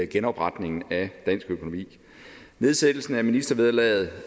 genopretningen af dansk økonomi nedsættelsen af ministervederlaget